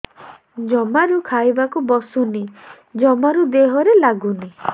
ଜମାରୁ ଖାଇବାକୁ ବସୁନି ଜମାରୁ ଦେହରେ ଲାଗୁନି